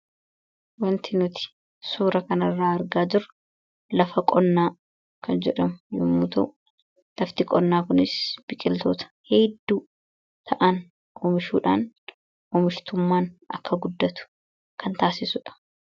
wanti nuti suura kanirraa argaa dura lafa qonnaa kan jedhamu yomuutau lafti qonnaa kunis biqiltoota heedduu ta'an umishuudhaan umishtummaan akka guddatu kan taasisuudha